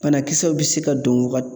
Banakisɛw bɛ se ka don wa